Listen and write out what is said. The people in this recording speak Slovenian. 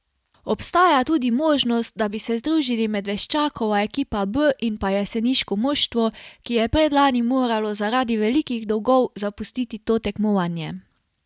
Obstaja tudi možnost, da bi se združili Medveščakova ekipa B in pa jeseniško moštvo, ki je predlani moralo zaradi velikih dolgov zapustiti to tekmovanje.